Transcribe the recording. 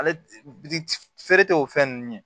Ale feere tɛ o fɛn ninnu ye